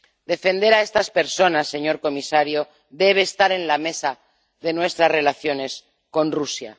Defender a estas personas, señor comisario, debe estar en la mesa en nuestras relaciones con Rusia.